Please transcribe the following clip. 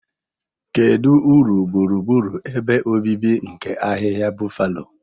Kedu uru gburugburu ebe obibi nke ahịhịa Buffalo?